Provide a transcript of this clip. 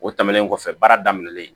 O tɛmɛnen kɔfɛ baara daminɛlen